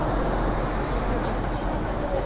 Gözlə, gözlə.